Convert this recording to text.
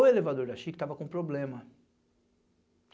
O elevador da Chico tava com problema.